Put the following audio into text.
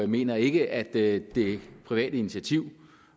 mener ikke at det private initiativ